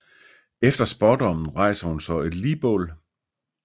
Efter spådommen rejser hun så et ligbål